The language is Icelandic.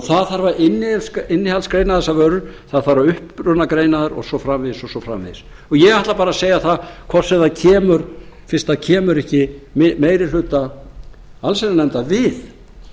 það þarf að innihaldsgreina þessar vörur það þarf að upprunagreina þær og svo framvegis og svo framvegis ég ætla bara að segja það að hvort sem það kemur fyrst það kemur ekki meiri hluta allsherjarnefndar við